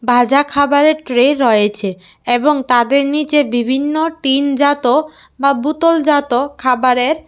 বাজা খাবারের ট্রে রয়েছে এবং তাদের নিচে বিভিন্ন টিনজাত বা বুতলজাত খাবারের ---